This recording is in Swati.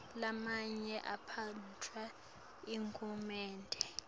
lamanye aphetfwe nguhulumende